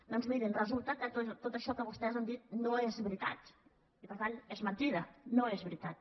doncs mirin resulta que tot això que vostès han dit no és veritat i per tant és mentida no és veritat